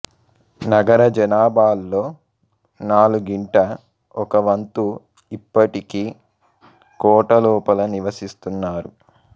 నగర జనాభాలో నాలుగింట ఒక వంతు ఇప్పటికీ కోట లోపల నివసిస్తున్నారు